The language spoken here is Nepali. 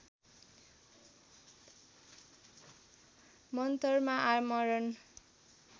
मन्तरमा आमरण